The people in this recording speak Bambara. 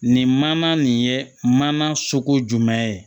Nin mana nin ye mana soko jumɛn ye